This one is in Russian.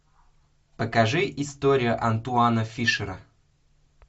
покажи история антуана фишера